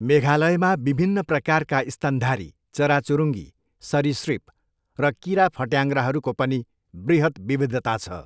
मेघालयमा विभिन्न प्रकारका स्तनधारी, चराचुरुङ्गी, सरीसृप र कीराफट्याङ्ग्राहरूको पनि बृहत् विविधता छ।